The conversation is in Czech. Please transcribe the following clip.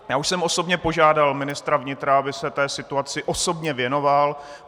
Já už jsem osobně požádal ministra vnitra, aby se té situaci osobně věnoval.